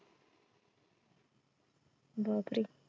बापरे